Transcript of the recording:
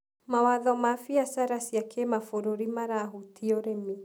Mawatho ma biacara cia kĩmabũruri marahutia ũrĩmi.